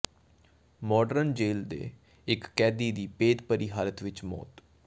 modern ਜੇਲ੍ਹ ਦੇ ਇਕ ਕੈਦੀ ਦੀ ਭੇਦਭਰੀ ਹਾਲਤ ਵਿਚ ਮੌਤ